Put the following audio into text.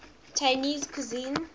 chinese cuisine